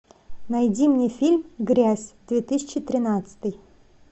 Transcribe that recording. найди мне фильм грязь две тысячи тринадцатый